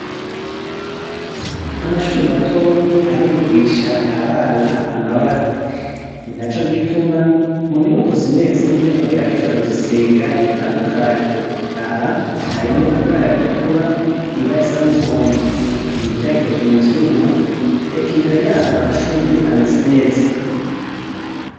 Amashure matonyi arigisha abana amabara, ninaco gituma mu nyubako zimwe zimwe bagerageza kuzisiga bitandukanye, aha harimwo ibara ritukura, ibara risa n'umuhondo, imiryango ikozwe mu vyuma, eka imbere yaho hari amashurwe ameze neza.